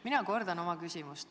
Mina kordan oma küsimust.